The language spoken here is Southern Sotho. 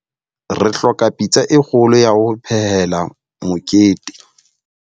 Re hloka pitsa e kgolo ya ho phehela mokete.